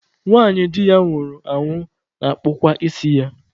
Nwanyị di ya nwụrụ anwụ na-akpụkwa isi ya.